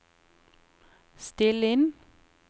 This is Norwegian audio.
still inn